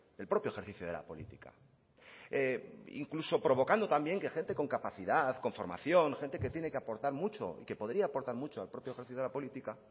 el propio ejercicio de la política incluso provocando también que gente con capacidad con formación gente que tiene que aportar mucho y que podría aportar mucho al propio ejercicio de la política